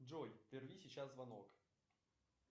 джой прерви сейчас звонок